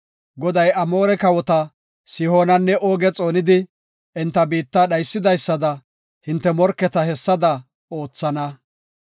Goday Amoore kawota Sihoonanne Ooge xoonidi, enta biitta dhaysidaysada hinte morketa hessada oothana.